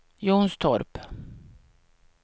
Jonstorp